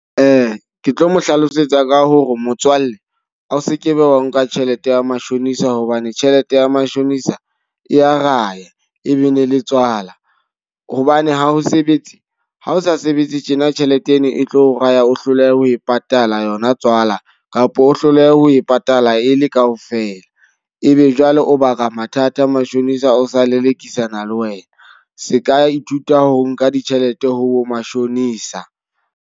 Ke tlo mo hlalosetsa ka hore motswalle a o sekebe wa nka tjhelete ya matjhonisa hobane tjhelete ya matjhonisa e ya raya, e be ne le tswala. Hobane ha o sebetse, ha o sa sebetse tjena tjhelete eno e tlo raya o hloleha ho e patala yona tswala kapa o hloleha ho e patala e le ka ofela. E be jwale o baka mathata, mashonisa o sa lelekisana le wena. Se ka ithuta ho nka ditjhelete ho bo mashonisa.